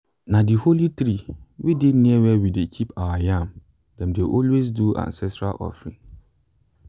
na the holy tree wey dey near where we dey keep our yam dem dey always do ancestral offering.